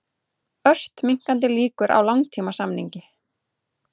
Ört minnkandi líkur á langtímasamningi